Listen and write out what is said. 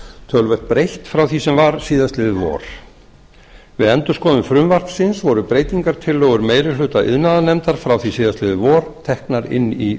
töluvert breytt frá því sem var síðastliðið vor við endurskoðun frumvarpsins voru breytingartillögur meiri hluta iðnaðarnefndar frá því síðastliðið vor teknar inn í